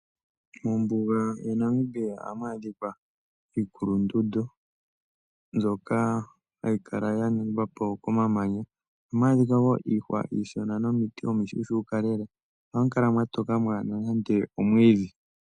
Mombuga ya Namibia ohamu adhika iikulundundu, mbyoka hayi kala ya ningwa po ko mamanya. Ohamu adhika wo iihwa iishona nomiti omi shuushuuka lela, no hamu kala mwa toka mwaana nande omwiidhi.